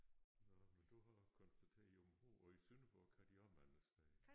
Nåh men du har også konstateret i Aabenraa og i Sønderborg kan de også mange steder